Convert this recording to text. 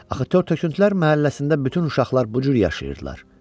Axı tör-töküntülər məhəlləsində bütün uşaqlar bu cür yaşayırdılar.